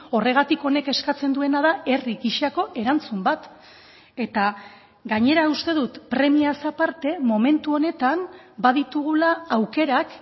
horregatik honek eskatzen duena da herri gisako erantzun bat eta gainera uste dut premiaz aparte momentu honetan baditugula aukerak